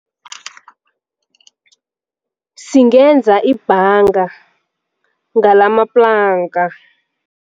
Singenza ibhanga ngalamaplanka.